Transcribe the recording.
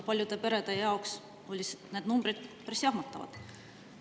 Paljude perede jaoks olid need numbrid päris jahmatavad.